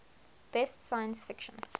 best science fiction